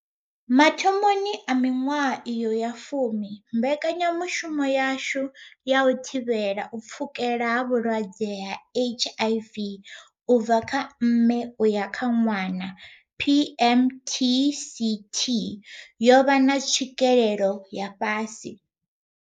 Mathomoni a miṅwaha iyo ya fumi, mbekanya mushumo yashu ya u thivhela u pfukela ha vhulwadze ha HIV u bva kha mme u ya kha ṅwana PMTCT yo vha na tswikelelo ya fhasi.